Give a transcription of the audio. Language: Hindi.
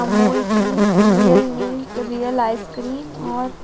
अमूल की रियल मिल्क रियल आइसक्रीम और